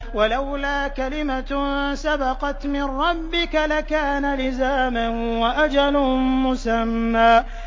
وَلَوْلَا كَلِمَةٌ سَبَقَتْ مِن رَّبِّكَ لَكَانَ لِزَامًا وَأَجَلٌ مُّسَمًّى